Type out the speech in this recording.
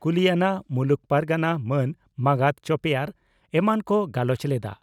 ᱠᱩᱞᱤᱭᱟᱱᱟ ᱢᱩᱞᱩᱠ ᱯᱟᱨᱜᱟᱱᱟ ᱢᱟᱱ ᱢᱟᱸᱜᱟᱛ ᱪᱚᱯᱮᱭᱟᱨ ᱮᱢᱟᱱ ᱠᱚ ᱜᱟᱞᱚᱪ ᱞᱮᱫᱼᱟ ᱾